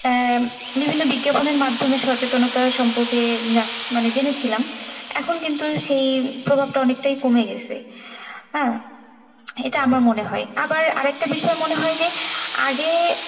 আহ বিভিন্ন বিজ্ঞাপনের মাধ্যমে সচেতনতার সম্পর্কে মানে জেনেছিলাম এখন কিন্তু সেই প্রভাবটা অনেকটাই কমে গেছে হ্যাঁ? এটা আমার মনে হয় আমার আরেকটা বিষয়ে মনে হয় যে আগে,